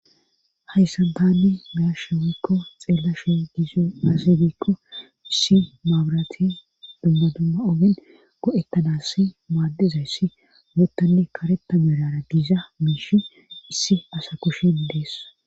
hayssa tan beyashe woykko xeella she giizi azibikko issi maabrati dumma dumma ogin go7ekana si maaddizay ssi moottanne kareta merara giiza miishi issi asa kushen dees